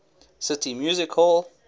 city music hall